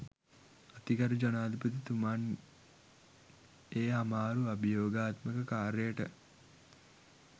අතිගරු ජනාධිපතිතුමන් ඒ අමාරු අභියෝගාත්මක කාර්යයට